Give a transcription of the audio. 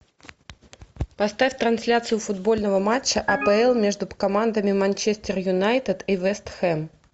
поставь трансляцию футбольного матча апл между командами манчестер юнайтед и вест хэм